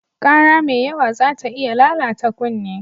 Ƙara mai yawa zata iya lalata kunne.